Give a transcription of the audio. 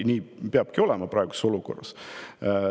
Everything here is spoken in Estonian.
Nii peabki olema praeguses olukorras.